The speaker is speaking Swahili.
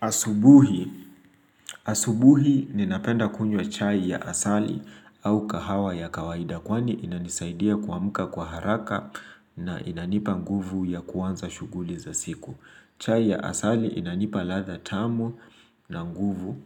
Asubuhi. Asubuhi ninapenda kunywa chai ya asali au kahawa ya kawaida kwani inanisaidia kuamka kwa haraka na inanipa nguvu ya kuanza shughuli za siku. Chai ya asali inanipa ladha tamu na nguvu.